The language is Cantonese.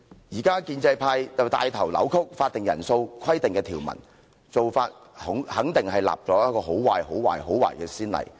現在建制派帶頭扭曲法定人數規定的條文，做法肯定是立了一個很壞、很壞、很壞的先例。